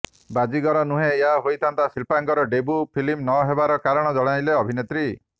ବାଜିଗର ନୁହେଁ ଏହା ହୋଇଥାନ୍ତା ଶିଳ୍ପାଙ୍କର ଡେବ୍ୟୁ ଫିଲ୍ମ ନ ହେବାର କାରଣ ଜଣାଇଲେ ଅଭିନେତ୍ରୀ